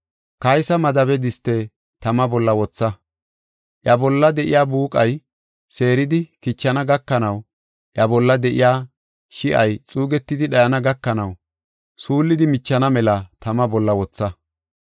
Kaysa Madabe diste tama bolla wotha. Iya bolla de7iya buuqay seeridi kichana gakanawunne iya bolla de7iya shi7ay xuugetidi dhayana gakanaw suullidi michana mela tama bolla wotha.